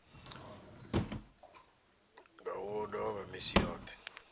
nga u ḽova misi yoṱhe